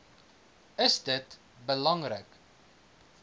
is dit belangrik